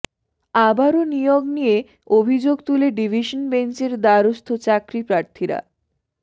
আবারও নিয়োগ নিয়ে অভিযোগ তুলে ডিভিশন বেঞ্চের দ্বারস্থ চাকরিপ্রার্থীরা